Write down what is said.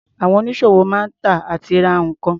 Àwọn onísọ̀wò máa ń tà àti ra nǹkan.